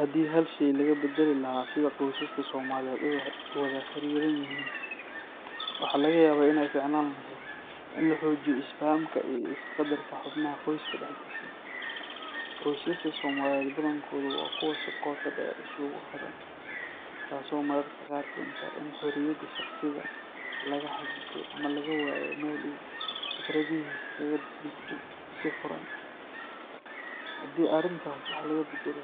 Haddii hal shay laga beddeli lahaa sida qoysaska Soomaaliyeed u wada xiriran yihiin, waxaa laga yaabaa inay fiicnaan lahayd in la xoojiyo isfahamka iyo isqadarka xubnaha qoyska dhexdiisa. Qoysaska Soomaaliyeed badankoodu waa kuwo si qoto dheer isugu xidhan, taasoo mararka qaar keenta in xorriyadda shakhsiga la xaddido ama laga waayo meel uu fikradihiisa kaga dhiibto si furan. Haddii arrintaas wax laga beddelo,